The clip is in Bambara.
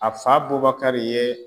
A fa Bubakari ye